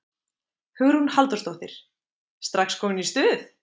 Hugrún Halldórsdóttir: Strax komin í stuð?